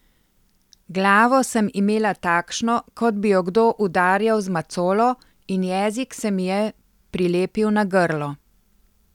Glavo sem imela takšno, kot bi jo kdo udarjal z macolo, in jezik se mi je prilepil na grlo.